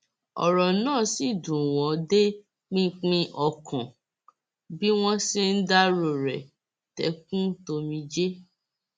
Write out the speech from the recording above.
ọrọ náà sì dùn wọn dé pinpin ọkàn bí wọn ṣe ń dárò rẹ tẹkùntòmijé